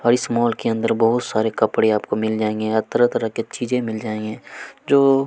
अऊ इस मॉल के अंदर बहुत सारे कपड़े आपको मिल जाएंगे यहाँ तरह-तरह के चीजे मिल जाएंगे जो--